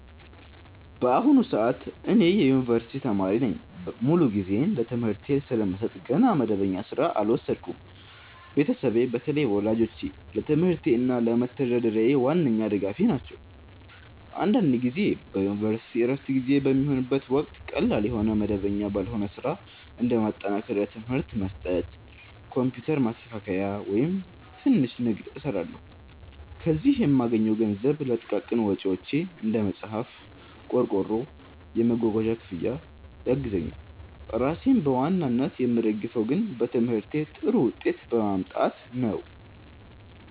በአሁኑ ሰዓት እኔ የዩኒቨርሲቲ ተማሪ ነኝ። ሙሉ ጊዜዬን ለትምህርቴ ስለምሰጥ ገና መደበኛ ሥራ አልወሰድኩም። ቤተሰቤ፣ በተለይ ወላጆቼ፣ ለትምህርቴ እና ለመተዳደሪያዬ ዋነኛ ድጋፌ ናቸው። አንዳንድ ጊዜ በዩኒቨርሲቲ ዕረፍት ጊዜ በሚሆንበት ወቅት ቀላል የሆነ መደበኛ ባልሆነ ሥራ (እንደ ማጠናከሪያ ትምህርት መስጠት፣ ኮምፒውተር ማስተካከያ፣ ወይም ትንሽ ንግድ) እሰራለሁ። ከዚህ የምገኘው ገንዘብ ለጥቃቅን ወጪዎቼ (እንደ መጽሐፍ፣ ቆርቆሮ፣ የመጓጓዣ ክፍያ) ያግዘኛል። ራሴን በዋናነት የምደግፈው ግን በትምህርቴ ጥሩ ውጤት በማምጣት ነው።